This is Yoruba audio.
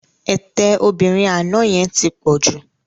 Ètè obìnrin àná yẹn ti pọ̀ jù